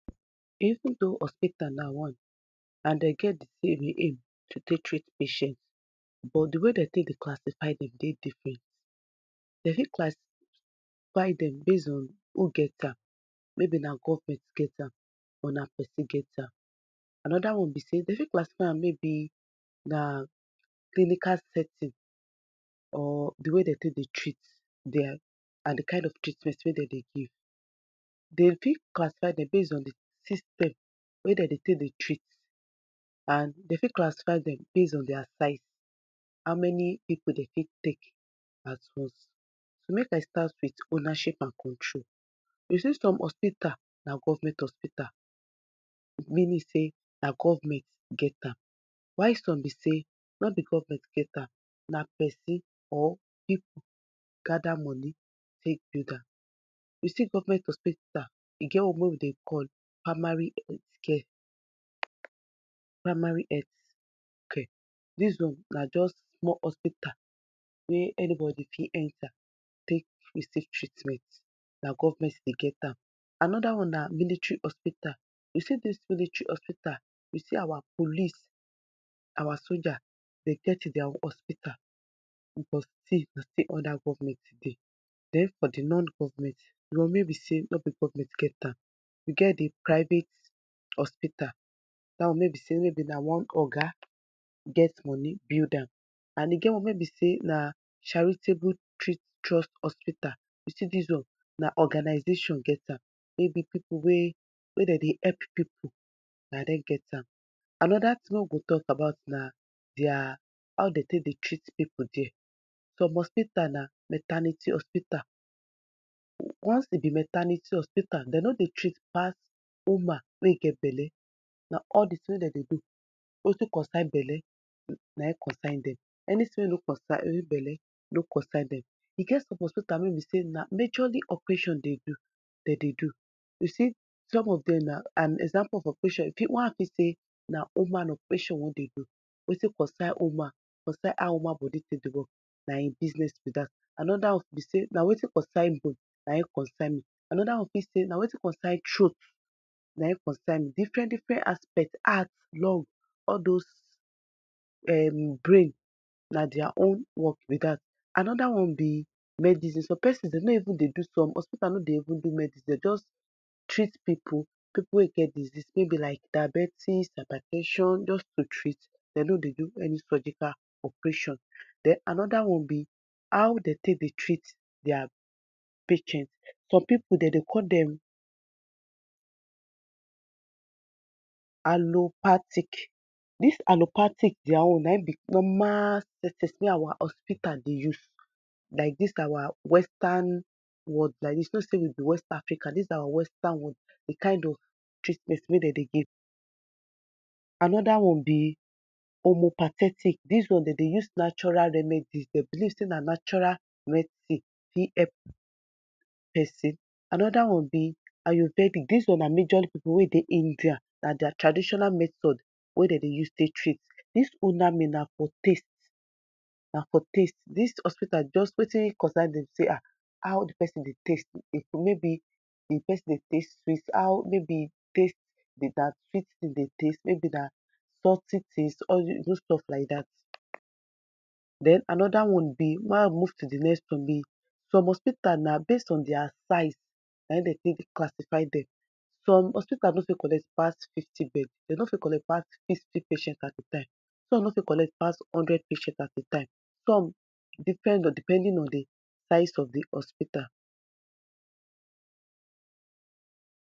Choking na condition wey dey happen when something like food or object block where air dey pass enter body and e con dey difficult for di person to con breath and signs say person dey choke bí say e face go dey red, ẹ lip go dey turn blue, food or wetin dey e mouth go dey peel out, e go dey commot for día mouth, person ni go fit talk well well, e eyes go dey open and even e ni go know as e dey take do am, na dis sign, if another get dis sign near you, know say di person don dey choke and for people wey e no dey okay like dat wetin bí cos di tin be say if dem dey eat wetin dem no suppose eat, or dem dey distracted when dem dey eat or maybe dem dey press phone or dem dey watch movie, dem dey rush their food chop, na dis people wey, na di tin wey dey cos choke bí dat, people wey person no fit concentrate well well di person fit choke, other tin wey fit cos choke bí say, maybe person wey dey at ten d or may dey give care to di patient or to di person no too dey concentrate or no too know di kind position wey e suppose put di person, di person fit dey choke den another one bi say if di person no chewing di food well well, di person fit dey choke and if, you know say if person dey rush food now, no how e no go dey choke so, wetin caregivers go do take bi say, na to make sure say di care wey dem dey give person dey complete, dem no di kind food wey dem go give am and dem go make sure say dem dey with am when he dey chop make e no go rush di food, make e chew di food well well before e swallow am den maybe e o give dem small small food like dat small, dat spoon, dem go just put small food for inside, dem go allow am chop no bi say e go rush everything put for mouth. Den if somebody dey choke, maybe di person dey choke and e no dey around where hospita dey, dem fit call nine one one, na nine one one bí di number wey dem go call, d go still con at ten d to her and maybe, another tin wey dem fit do na wetin dem dry call CPR, maybe e don dey, ẹ don faint abi e bi like say e no dey breath well well, di tin wey you fit do na, you fit do CPR, and another tin you fit do na say you fit do abdominal trush, dat deals on bi say you go dey press di belle, di upper part of belle no bi the down belle, di upper part of di belle so Dat si food go quick commot and make sure say if you won do CPR, di person go lie down straight to avoid choking, na wetin you go do bí dat